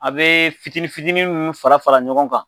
A be fitinin fitinin munnu fara fara ɲɔgɔn kan